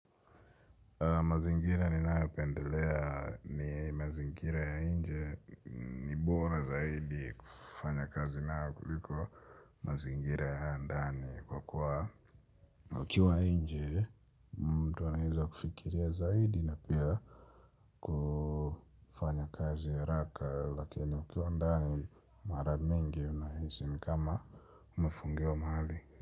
Mazingira ninae pendelea ni mazingira ya inje. Ibora zaidi kufanya kazi na kuliko mazingira ya ndani kwa kuwa. Ukiwa inje mtu anaheza kufikiria zaidi na pia. Ufanya kazi ya haraka lakini ukiwa ndani mara mingi unahisi ni kama umefungiwa mahali.